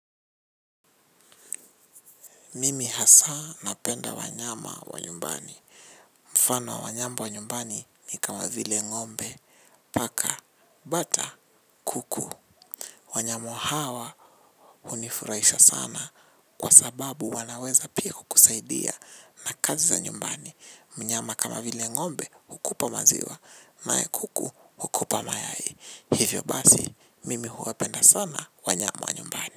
Mimi hasa napenda wanyama wa nyumbani. Mfano wanyama wa nyumbani ni kama vile ngombe paka, bata, kuku. Wanyama hawa hunifurahisha sana. Kwa sababu wanaweza pia kukusaidia na kazi za nyumbani. Mnyama kama vile ngombe hukupa maziwa. Na kuku hukupa mayai. Hivyo basi, mimi huwapenda sana wanyama wa nyumbani.